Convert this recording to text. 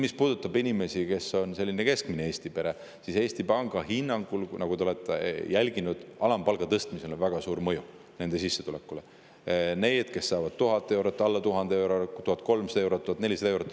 Mis puudutab sellist keskmist Eesti peret, siis Eesti Panga hinnangul, mida te olete ilmselt jälginud, on alampalga tõstmisel väga suur mõju nende sissetulekule, kes saavad 1000 eurot, alla 1000 euro, 1300 eurot, 1400 eurot.